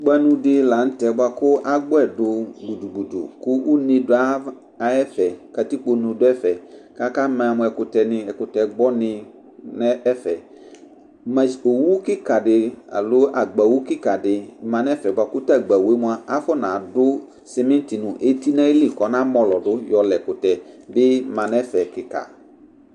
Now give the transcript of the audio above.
Kpanʋ dila nʋtɛ kʋ agbɔdʋɛ dʋ gbʋdʋ gbʋdʋ kʋ une du ayʋ kʋ katipkone dʋ ɛfɛ kʋ akama mʋ ɛkʋtɛ gbɔni nʋ ɛfɛ owʋ agbawʋ kikadi manʋ ɛfɛ bʋakʋ tʋ agbawʋe ma afɔnadʋ simiti nʋ eti nʋ ayili kʋ ɔna mɔlɔdʋ yɔla ɛkʋtɛ bi manʋ ɛfɛ kika